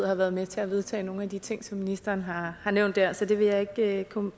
har været med til at vedtage nogen af de ting som ministeren har nævnt her så det vil jeg ikke komme